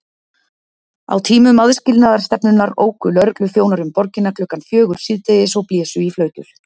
Á tímum aðskilnaðarstefnunnar óku lögregluþjónar um borgina klukkan fjögur síðdegis og blésu í flautur.